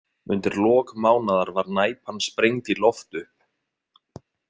Undir lok mánaðar var Næpan sprengd í loft upp.